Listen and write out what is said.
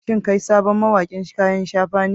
Shin kai sabon mawaƙin kayan shafa ne?